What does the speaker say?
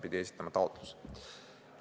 Pidi esitama taotluse.